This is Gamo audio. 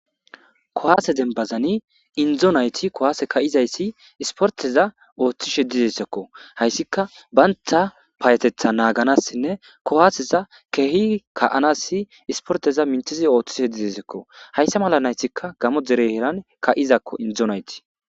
kowaase denbazani indzo nayti kowaase ka7izayssi isporteza ooththishe dizesekko hayssika baynta paayetetha naaganassinne kowaaseza kehi ka7anassi isporteza mintizi ooththishe dizesekko hayssa mala naysikka gamo dere heeran ka7izakko inzonayti.